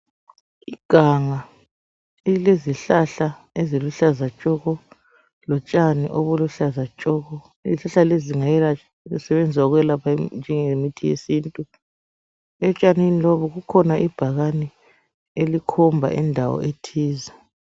Iganga elilezihlahla eziluhlaza tshoko, lotshani obuluhlaza tshoko, izihlahla lezi singasebenza ukwelapha nje ngemithi yesintu ,etshanini lobu kukhona ibhakane elikhomba indawo ethize.